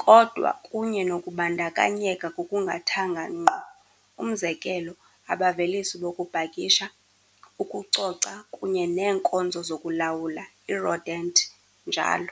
kodwa kunye nokubandakanyeka ngokungathanga ngqo, umzekelo, abavelisi bokupakisha, ukucoca kunye neenkonzo zokulawula i-rodent, njl.